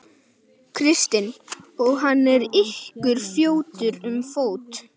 Kristinn: Og hann er ykkur fjötur um fót?